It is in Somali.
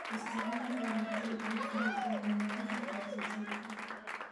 Isticmaalka wareegtada dalagga waxay wanaajin kartaa wax soo saarka.